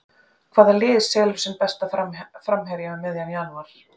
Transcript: Hvaða lið selur sinn besta framherja um miðjan janúar?